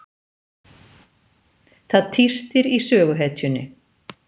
Það tístir í söguhetjunni.